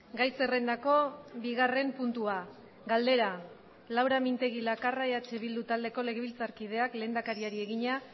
gai zerrendako bigarren puntua galdera laura mintegi lakarra eh bildu taldeko legebiltzarkideak lehendakariari egina